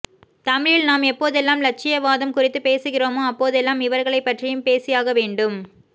தமிழில் நாம் எப்போதெல்லாம் இலட்சியவாதம் குறித்து பேசுகிறோமோ அப்போதெல்லாம் இவர்களைப்பற்றியும் பேசியாகவேண்டும்